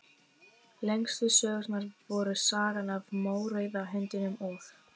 Lengstu sögurnar voru Sagan af mórauða hundinum og